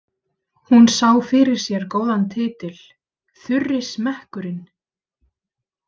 Hún sá fyrir sér góðan titil: Þurri smekkurinn.